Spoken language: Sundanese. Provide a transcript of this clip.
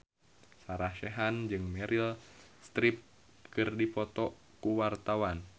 Sarah Sechan jeung Meryl Streep keur dipoto ku wartawan